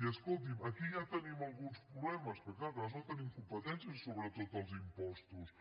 i escolti’m aquí ja tenim alguns problemes perquè és clar nosaltres no tenim competències sobre tots els impostos